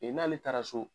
n'ale taara so